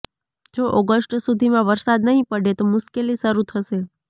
જો ઓગષ્ટ સુધીમાં વરસાદ નહીં પડે તો મુશ્કેલી શરૃં થશે